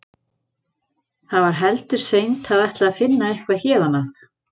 Það var heldur seint að ætla að finna eitthvað héðan af.